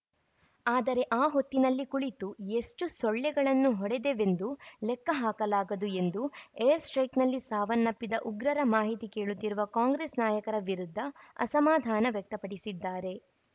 ಆದರೆ ಆ ಹೊತ್ತಿನಲ್ಲಿ ಕುಳಿತು ಎಷ್ಟುಸೊಳ್ಳೆಗಳನ್ನು ಹೊಡೆದೆವೆಂದು ಲೆಕ್ಕ ಹಾಕಲಾಗದು ಎಂದು ಏರ್‌ ಸ್ಟೆ್ರೖಕ್‌ನಲ್ಲಿ ಸಾವನ್ನಪ್ಪಿದ ಉಗ್ರರ ಮಾಹಿತಿ ಕೇಳುತ್ತಿರುವ ಕಾಂಗ್ರೆಸ್‌ ನಾಯಕರ ವಿರುದ್ಧ ಅಸಮಾಧಾನ ವ್ಯಕ್ತಪಡಿಸಿದ್ದಾರೆ